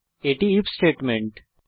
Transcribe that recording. এটি if statement